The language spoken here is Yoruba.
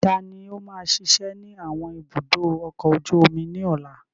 Ta ni yóò máa ṣiṣẹ́ ní àwọn ibùdó ọkọ̀ ojú omi ní ọ̀la?